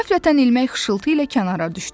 Qəflətən ilmək xışıltı ilə kənara düşdü.